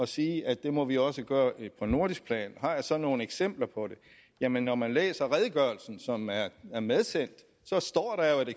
sige at det må vi også gøre på nordisk plan har jeg så nogle eksempler på det jamen når man læser redegørelsen som er er medsendt